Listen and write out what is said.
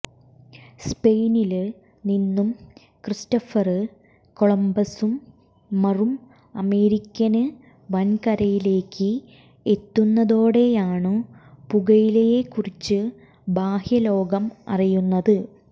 സ്പെയിനില് നിന്നു ക്രിസ്റ്റൊഫര് കൊളംബസ്സും മറും അമേരിക്കന് വന്കരയിലേക്ക് എത്തുന്നതോടെയാണു പുകയിലയെക്കുറിച്ച് ബാഹ്യലോകം അറിയുന്നത്